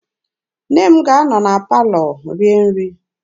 Nne m ga-anọ na palọ rie nri.